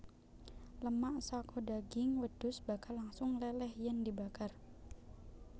Lemak saka daging wedhus bakal langsung leleh yen dibakar